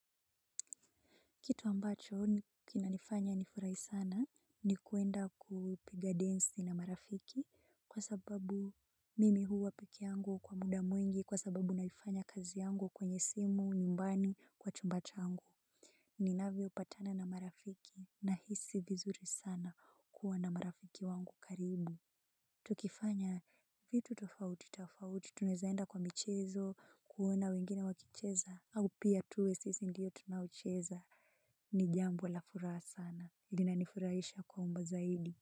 Kitu ambacho kinanifanya nifurahi sana ni kuenda kuipiga densi na marafiki kwa sababu mimi huwa peke yangu kwa muda mwingi kwa sababu naifanya kazi yangu kwenye simu nyumbani kwa chumba changu. Ninavyopatana na marafiki nahisi vizuri sana kuwa na marafiki wangu karibu. Tukifanya vitu tofauti tofauti tunawezaenda kwa michezo kuona wengine wakicheza au pia tuwe sisi ndiyo tunaocheza. Ni jambo la furaha sana. Linanifurahisha kuomba zaidi.